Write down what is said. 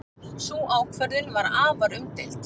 Sú ákvörðun var afar umdeild.